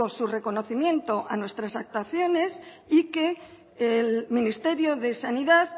su reconocimiento a nuestras actuaciones y que el ministerio de sanidad